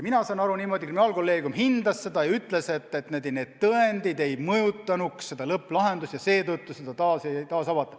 Mina saan aru niimoodi: kriminaalkolleegium hindas seda ja ütles, et need tõendid ei mõjutanud lõpplahendust ja seetõttu seda taas ei avata.